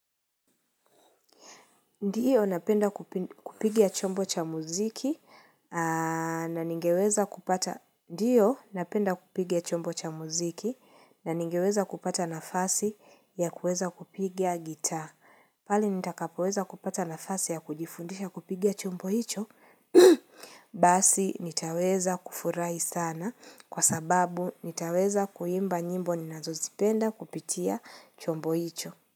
Ndiyo, napenda kupigia chombo cha muziki na ningeweza kupata nafasi ya kuweza kupiga gitaa. Pale nitakapoweza kupata nafasi ya kujifundisha kupigia chombo hicho, basi nitaweza kufurahi sana kwa sababu nitaweza kuimba nyimbo ninazozipenda kupitia chombo hicho.